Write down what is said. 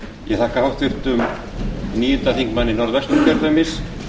ég þakka háttvirtum níundi þingmanni norðvesturkjördæmis